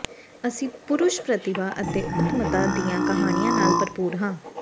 ਅਸੀਂ ਪੁਰਸ਼ ਪ੍ਰਤਿਭਾ ਅਤੇ ਉੱਤਮਤਾ ਦੀਆਂ ਕਹਾਣੀਆਂ ਨਾਲ ਭਰਪੂਰ ਹਾਂ